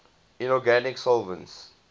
inorganic solvents